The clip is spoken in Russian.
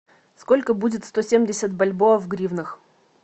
сколько будет сто семьдесят бальбоа в гривнах